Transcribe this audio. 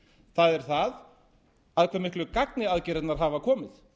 það er það að hve miklu gagni aðgerðirnar hafa komið